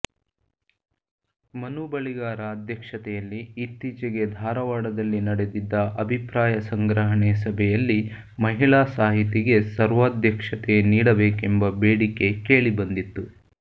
ಮನು ಬಳಿಗಾರ ಅಧ್ಯಕ್ಷತೆಯಲ್ಲಿ ಇತ್ತೀಚೆಗೆ ಧಾರವಾಡದಲ್ಲಿ ನಡೆದಿದ್ದ ಅಭಿಪ್ರಾಯ ಸಂಗ್ರಹಣೆ ಸಭೆಯಲ್ಲಿ ಮಹಿಳಾ ಸಾಹಿತಿಗೆ ಸರ್ವಾಧ್ಯಕ್ಷತೆ ನೀಡಬೇಕೆಂಬ ಬೇಡಿಕೆ ಕೇಳಿಬಂದಿತ್ತು